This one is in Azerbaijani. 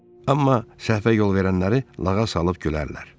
Amma səhvə yol verənləri lağa salıb gülərdilər.